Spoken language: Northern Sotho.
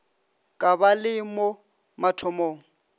ka ba le mo mathomong